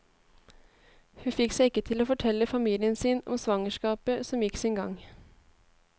Hun fikk seg ikke til å fortelle familien sin om svangerskapet, som gikk sin gang.